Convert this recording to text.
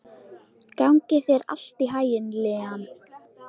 Gangi þér allt í haginn, Liam.